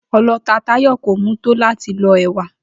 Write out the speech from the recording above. O̩lo̩ta Táyò̩ kò mú tó láti lo̩ è̩wà